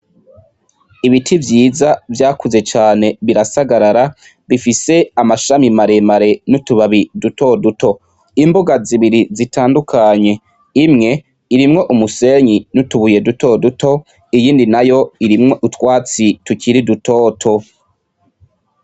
Ibiti vyiza vyakuze cane birasagarara, bifise amashami maremare n'utubabi dutoduto, imbuga zibiri zitandukanye, imwe irimwo umusenyi n'utubuye dutoduto, iyindi nayo irimwo utwatsi tukiri dutoto.